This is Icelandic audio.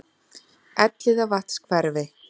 Elliðavatnshverfi